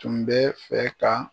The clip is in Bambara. Tun bɛ fɛ ka